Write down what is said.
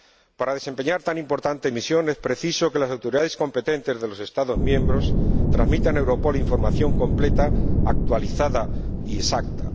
Para desempeñar tan importante misión, es preciso que las autoridades competentes de los Estados miembros transmitan a Europol información completa, actualizada y exacta.